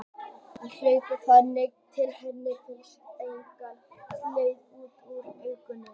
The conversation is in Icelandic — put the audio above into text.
Þau hlaupa þangað til henni finnst einsog hjartað sé á leið út úr augunum.